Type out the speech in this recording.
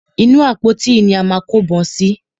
Inú àpótí yìí ni a máa kó ìbọn sí.